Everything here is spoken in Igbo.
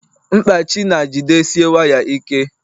mkpachị na jidesie waya ike